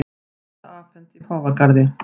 Stytta afhent í Páfagarði